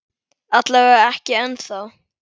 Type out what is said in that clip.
Alla vega ekki ennþá.